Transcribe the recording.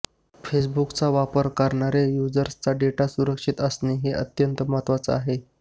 फेसबुकचा वापर करणाऱ्या युजर्सचा डेटा सुरक्षित असणं हे अत्यंत महत्वाचं आहे